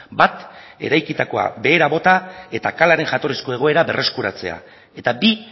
bat eraikitakoa behera bota eta kalaren jatorrizko egoera berreskuratzea eta bi